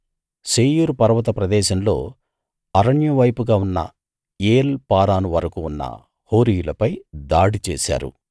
శేయీరు పర్వత ప్రదేశంలో అరణ్యం వైపుగా ఉన్న ఏల్ పారాను వరకూ ఉన్న హోరీయులపై దాడి చేశారు